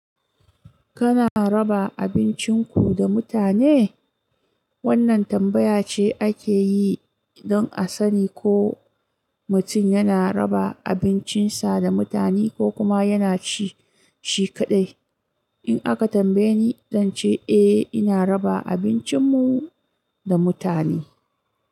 Kana raba abincinku da mutane? Wannan tambaya ce ake yi don a sani ko mutum yana raba abincinsa da mutane ko kuma yana ci shi kaɗai. In aka tambaye ni, zan ce eh, ina raba abincinmu da mutane.